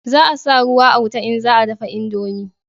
Za a sa ruwa a wuta in za a dafa indomi